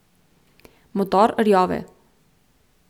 Motor rjove.